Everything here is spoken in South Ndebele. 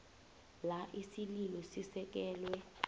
la isililo sisekelwe